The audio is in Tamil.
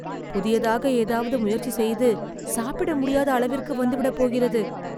புதியதாக ஏதாவது முயற்சி செய்து சாப்பிட முடியாத அளவிற்கு வந்துவிட போகிறது.